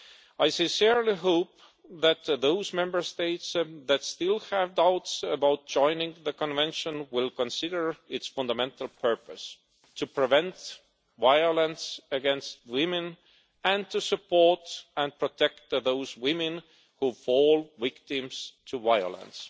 I sincerely hope that those Member States that still have doubts about joining the Convention will consider its fundamental purpose to prevent violence against women and to support and protect those women who fall victim to violence.